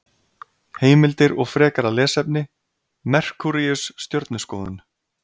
Heimildir og frekara lesefni: Merkúríus- Stjörnuskoðun.